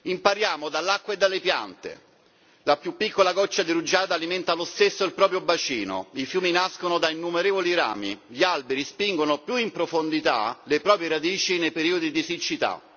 Impariamo dall'acqua e dalle piante la più piccola goccia di rugiada alimenta lo stesso il proprio bacino, i fiumi nascono da innumerevoli rami, gli alberi spingono più in profondità le proprie radici nei periodi di siccità.